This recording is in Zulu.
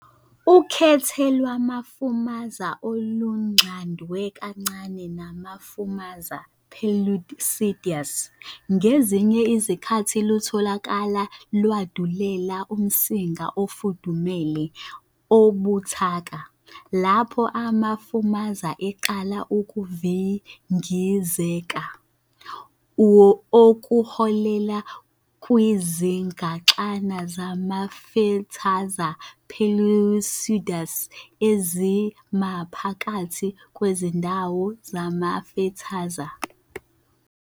Ukhethe lwamafumaza olunxadwe kancane namafumaza "perlucidus" ngezinye izikhathi lutholakala lwandulela umsinga ofudumele obuthaka, lapho amafumaza eqala ukuvingizeka, okuholela kwizigaxana zamafethaza perlucidus ezimaphakathi kwezindawo zamafethaza.